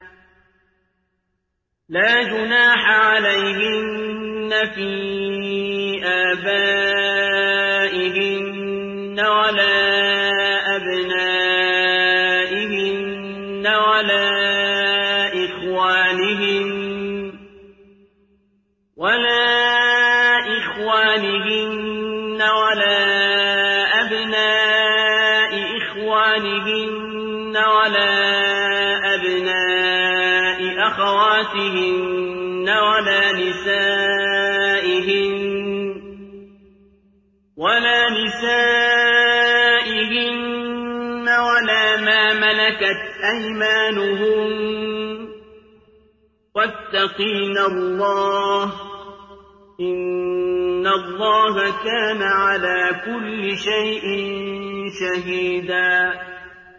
لَّا جُنَاحَ عَلَيْهِنَّ فِي آبَائِهِنَّ وَلَا أَبْنَائِهِنَّ وَلَا إِخْوَانِهِنَّ وَلَا أَبْنَاءِ إِخْوَانِهِنَّ وَلَا أَبْنَاءِ أَخَوَاتِهِنَّ وَلَا نِسَائِهِنَّ وَلَا مَا مَلَكَتْ أَيْمَانُهُنَّ ۗ وَاتَّقِينَ اللَّهَ ۚ إِنَّ اللَّهَ كَانَ عَلَىٰ كُلِّ شَيْءٍ شَهِيدًا